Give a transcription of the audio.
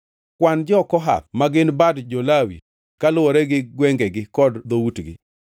“Kwan jo-Kohath ma gin bad jo-Lawi kaluwore gi gwengegi kod dhoutgi.